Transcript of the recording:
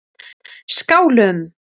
Skálum